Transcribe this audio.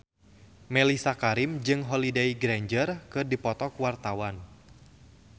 Mellisa Karim jeung Holliday Grainger keur dipoto ku wartawan